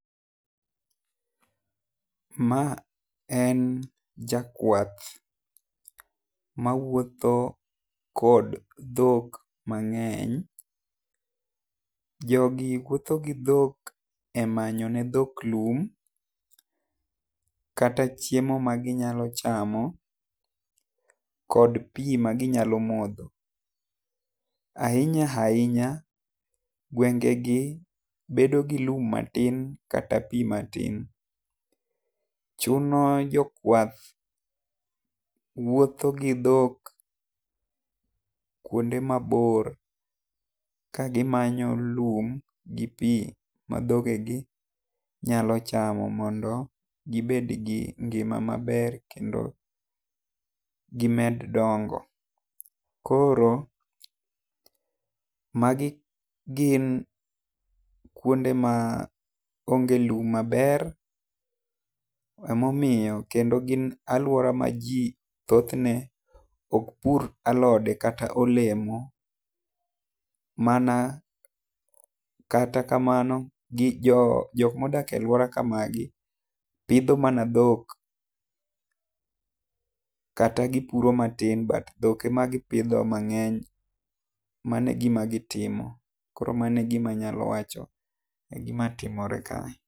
Ma en jakwath ma wuotho kod dhok mang'eny jo gi wuotho gi dhok e manyo ne dhok lum kata chiemo ma gi nyalo chamo kod pi gi nyalo modho. Ainya ainya gwenge gi bedo gi kum matin kata pi matin chon jokwath wuotho gi dhok kuonde ma bor ka gi manyo lum gi pi ma dhoge gi nya chamo mondo gi bed gi ngima ma ber kendo gi med dongo. Koro ma gi gin kuonde ma onge lum maber ema omiyo kendo gin aluore ma ji thoth ne ok pur alode kata olemo mana kata kamano gi jo jok ma odage e aluora kamagi pidho mana dhok kata gi puro matin but dhok e ma gi pidho mang'eny , mano e gima gi timo. Koro mano e gi ma anya wacho ni timore ka.